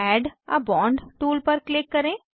add a bond tool पर click करें